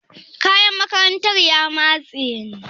Kayan makarantar ya matsu ne?